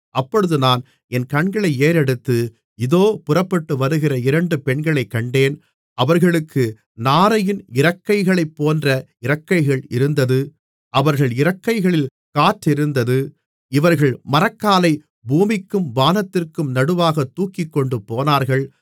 அப்பொழுது நான் என் கண்களை ஏறெடுத்து இதோ புறப்பட்டு வருகிற இரண்டு பெண்களைக் கண்டேன் அவர்களுக்கு நாரையின் இறக்கைகளைப்போன்ற இறக்கைகள் இருந்தது அவர்கள் இறக்கைகளில் காற்றிருந்தது இவர்கள் மரக்காலை பூமிக்கும் வானத்திற்கும் நடுவாகத் தூக்கிக்கொண்டு போனார்கள்